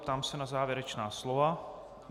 Ptám se na závěrečná slova.